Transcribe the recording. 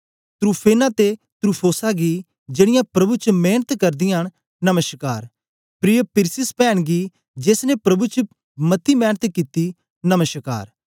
त्रूफेना ते त्रूफोसा गी जेड़ीयां प्रभु च मेंनत करदीयां न नमश्कार प्रिय पिरसिस पैन गी जेस ने प्रभु च मती मेंनत कित्ती नमश्कार